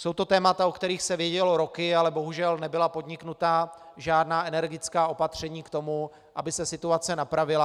Jsou to témata, o kterých se vědělo roky, ale bohužel nebyla podniknuta žádná energická opatření k tomu, aby se situace napravila.